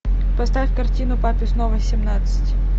поставь картину папе снова семнадцать